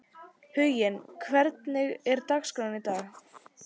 Huginn, hvernig er dagskráin í dag?